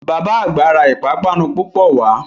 Bàbá àgbà ra ìpápánu púpọ̀ wá